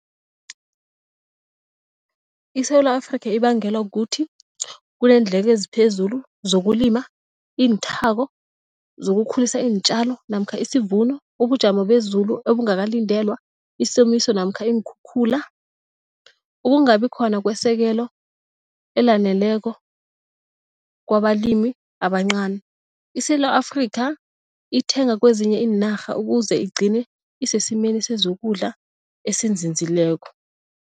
ISewula Afrika ibangelwa kukuthi kuneendleko eziphezulu zokulima, inthako zokukhulisa iintjalo namkha isivuno, ubujamo bezulu obungakalindelwa, isomiso namkha iinkhukhula, ukungabi khona kwesekelo elaneleko kwabalimi abancani. ISewula Afrika ithenga kwezinye iinarha ukuze igcine isesimeni sezokudla esinzinzileko.